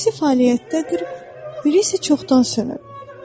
İkisi fəaliyyətdədir, biri isə çoxdan sönüb.